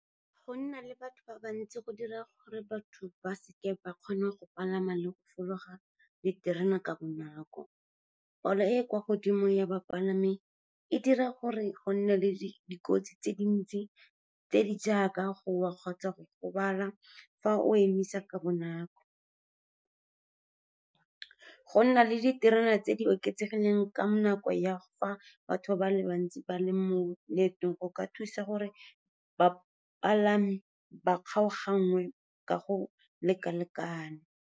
Go nna le batho ba bantsi go dira gore batho ba seke ba kgona go palama le go fologa diterena ka bonako. Palo e e kwa godimo ya bapalami e dira gore go nne le dikotsi tse dintsi tse di jaaka go wa kgotsa go gobala fa o emisa ka bonako. Go nna le diterena tse di oketsegileng ka nako ya fa batho ba le bantsi ba le mo leetong go ka thusa gore bapalami ba kgaoganngwe ka go leka-lekana.